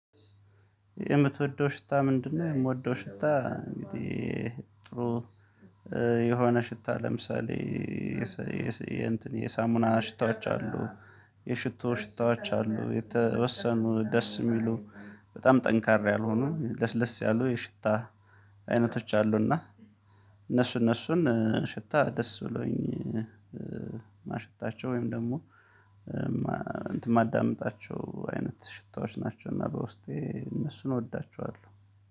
የምትወደው ሽታ ምንድነው? እምወደው ሽታ እንግዲህ ጥሩ የሆነ ሽታ ለምሳሌ የሳሙና ሽታዎች አሉ የሽቶ ሽታዎች አሉ የተወሰኑ ደስ እሚሉ በጣም ጠንካራ ያልሆኑ ለስ ለስ ያሉ የሽታ አይነቶች አሉና። እነሱ እነሱን ሽታ ደስ ብሎኝ ማሸታቸው ወይም ደግሞ እንትን ማዳምጣቸው አይነት ሽታዎች ናቸው። እና በውስጤ እነሱን እወዳቸዋለሁ።